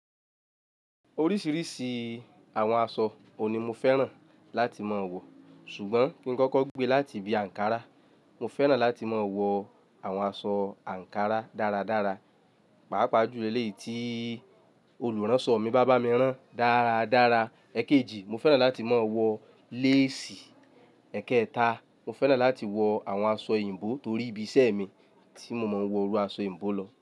Oríṣiríṣi àwọn aṣọ òuní mo fẹ́ràn láti máa wọ̀. Ṣùgbọ́n kí n kọ́kọ́ gbe láti ibi ankara, mo fẹ́ràn láti máa wọ àwọn aṣọ ankara dáradára. Pàápàá jùlọ eleyi tí olùránṣọ mi bá bá mi rán dáradára. Ẹ̀kẹjì, mo fẹ́ràn láti máa wọ lace. Ẹ̀kẹta, mo fẹ́ràn láti wọ àwọn aṣọ òyìnbó torí ibi iṣẹ́ mi tí mo máa ń wọ irú aṣọ òyìnbó lọ.